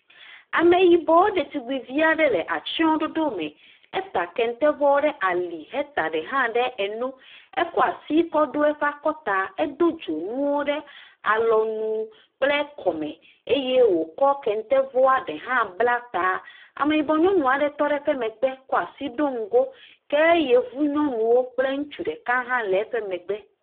Ameyibɔ detubivi aɖe le atsyɔ̃ɖoɖo me. Eta kente vɔ ɖe ali. Heta ɖe hã ɖe eno. Ekɔ asi kɔ ɖo eƒe akɔta edo dzonuwo ɖe alɔnu kple kɔme eye wòkɔ kente vɔ ɖe hã bla taa. Ameyibɔ nyɔnu aɖe tɔ ɖe eƒe megbe kɔ asi ɖo ŋgo. Ke Yevu nyɔnuwo kple ŋutsu ɖeka hã le eƒe megbe.